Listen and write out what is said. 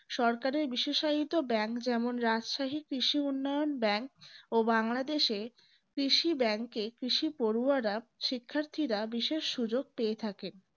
সরকারের বিশেষায়িত bank যেমন রাষ্ট্রহে কৃষি উন্নয়ন bank ও বাংলাদেশ কৃষি bank এ কৃষি পড়ুয়ারা শিক্ষার্থীরা বিশেষ সুযোগ পেয়ে থাকেন